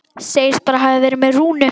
Segist bara hafa verið með Rúnu.